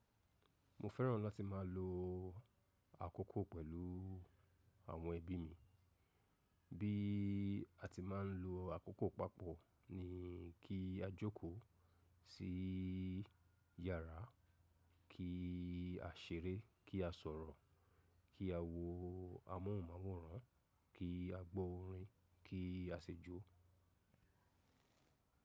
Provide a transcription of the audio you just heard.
Mo fẹ́ràn láti má a lo àkókò pẹ̀lú àwọn ẹbí mi. Bí a ti máa ń lo àkókò papọ̀ ni kí a jókòó sí yàrá, kí a ṣeré, kí a sọ̀rọ̀, kí a wo amóhùnmáwòrán, kí a gbọ́ orin, kí a ṣẹjo.